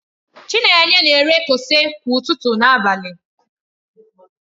Chinenye na-ere kose kwa ụtụtụ na abalị.